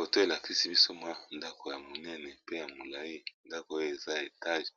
Photo e lakisi biso mwa ndako ya monene pe ya molayi, ndako oyo eza etage